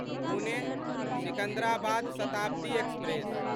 Pune Secunderabad Shatabdi express